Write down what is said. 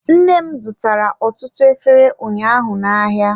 Nne m azụtara ọtụtụ efere ụnyaahụ na-ahịa.